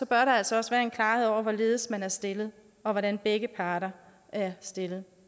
der altså også være en klarhed over hvorledes man er stillet og hvordan begge parter er stillet